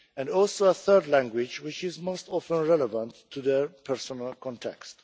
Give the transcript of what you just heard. and also a third language, which is most often relevant to their personal context.